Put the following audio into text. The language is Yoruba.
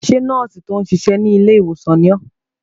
Ṣé nọ́ọ̀sì tí ó ń ṣiṣẹ́ ní ilé ìwòsàn ni ọ́?